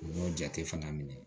U y'o jate fana minɛ